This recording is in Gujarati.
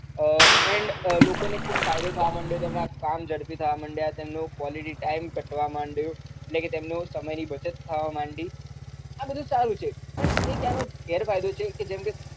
આહ and લોકો ને ખુબ ફાયદો થવા માંડ્યો છે કામ ઝડપી થવા માંડ્યા તેમની સમય ની બચત થવા માડી આ બધું સારું છે પણ એનો ગેર ફાયદો છે જેમ કે